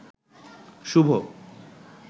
শুভ